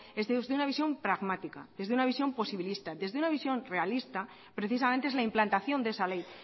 es de una visión pragmática es de una visión posibilista desde una visión realista precisamente es la implantación de esa ley